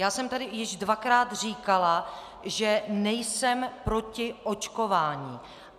Já jsem tady již dvakrát říkala, že nejsem proti očkování.